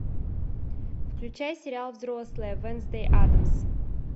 включай сериал взрослая вэнсдэй аддамс